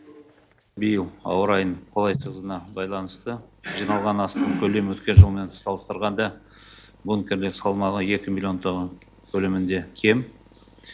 биыл ауа райының қолайсыздығына байланысты жиналған астық көлемі өткен жылмен салыстырғанда бұл екі миллион тонна көлемінде кем